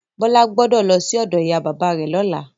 Bọ́lá gbọ́dọ̀ lọsí ọ̀dọ ìyá bàbá rẹ lọ́la.